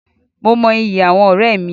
Mo mọ ìyí àwọn ọ̀rẹ́ mí